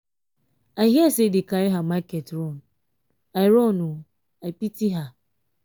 i hear say dey carry her market run. i run. i pity her.